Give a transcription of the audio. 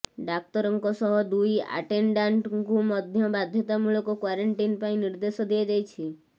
ଡାକ୍ତରଙ୍କ ସହ ଦୁଇ ଆଟେଣ୍ଡାଣ୍ଟଙ୍କୁ ମଧ୍ୟ ବାଧ୍ୟତାମୂଳକ କ୍ୱାରେଣ୍ଟିନ ପାଇଁ ନିର୍ଦ୍ଦେଶ ଦିଆଯାଇଛି